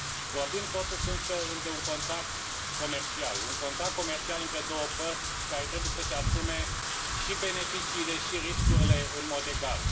Vorbim totuși de un contract comercial, un contract comercial între două părți care trebuie să își asume și beneficiile și riscurile în mod egal.